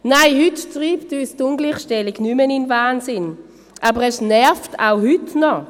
Nein, heute treibt uns die Ungleichstellung nicht mehr in den Wahnsinn, aber es nervt auch heute noch.